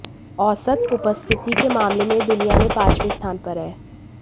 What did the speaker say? औसत उपस्थिति के मामले में यह दुनिया में पांचवें स्थान पर है